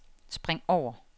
spring over